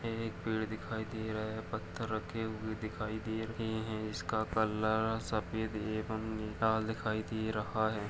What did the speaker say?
ये एक पेड़ दिखाई दे रहा है। पत्थर रखे हुए दिखाई दे रहे हैं। इसका कलर सफेद एवं लाल दिखाई दे रहा है।